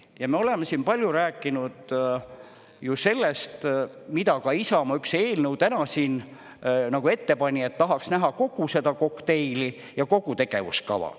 Ja me oleme siin palju rääkinud ju sellest, mida ka Isamaa üks eelnõu täna siin nagu ette pani, et tahaks näha kogu seda kokteili ja kogu tegevuskava.